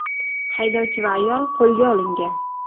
Haydovchi va ayol qo‘lga olingan.